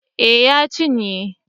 Eh ya cinye